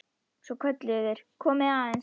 Svo kölluðu þeir: Komiði aðeins!